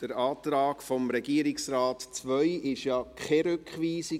Der Antrag II des Regierungsrates ist ja keine Rückweisung.